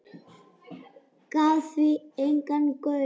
Gaf því engan gaum.